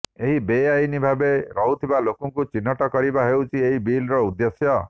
ଏହି ବେଆଇନ୍ ଭାବେ ରହୁଥିବା ଲୋକଙ୍କୁ ଚିହ୍ନଟ କରିବା ହେଉଛି ଏହି ବିଲ୍ର ଉଦ୍ଦେଶ୍ୟ